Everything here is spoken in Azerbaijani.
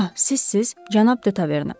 Ah, sizsiz, Cənab De Taverna?